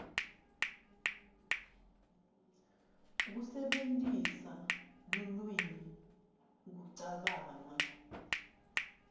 kusebentisa lulwimi kucabanga